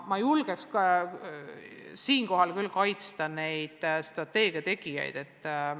Ma julgen siinkohal küll neid strateegia tegijaid kaitsta.